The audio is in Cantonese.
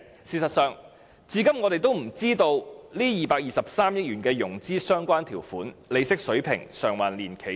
事實上，至今我們也不知道有關該223億元的融資條款、利息水平、償還年期等資料。